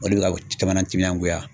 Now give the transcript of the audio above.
O de bɛ ka caman natiminangoya.